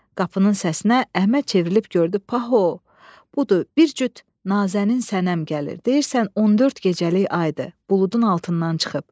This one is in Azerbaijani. Qapının səsinə Əhməd çevrilib gördü paho, budur bir cüt nazənin sənəm gəlir, deyirsən 14 gecəlik aydır, buludun altından çıxıb.